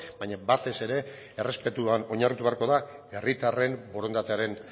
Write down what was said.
baina batez ere errespetuan oinarritu beharko da herritarren borondatearen